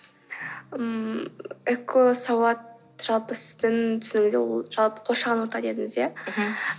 ммм экосауат жалпы сіздің түсінігіңізде ол жалпы қоршаған орта дедіңіз иә мхм